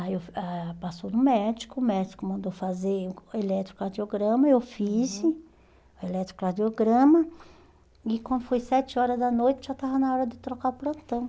Aí eu ah passou no médico, o médico mandou fazer o eletrocardiograma, eu fiz o eletrocardiograma e quando foi sete horas da noite já estava na hora de trocar o plantão.